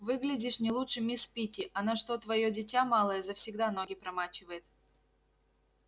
выглядишь не лучше мисс питти она что твоё дитя малое завсегда ноги промачивает